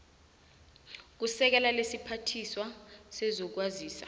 kusekela lesiphathiswa sezokwazisa